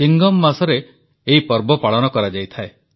chewing gum ମାସରେ ଏହି ପର୍ବ ପାଳନ କରାଯାଇଥାଏ